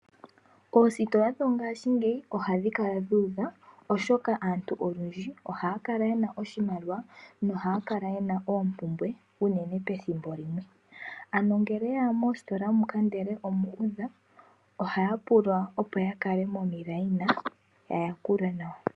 Oositola dhongaashingeyi ohadhikala dhuudha oshokaaantu olundji ohaakala yena oshimaliwa nohaakala yena oompumbwe unene pethimbo limwe. Ano ngele oyeya mositola moka ndele omuudha, ohaayapulwa opo yakale momikweyo yayakulwe nawa.